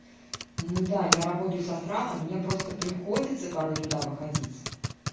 ну да я работаю с астралом мне просто приходится порой туда выходить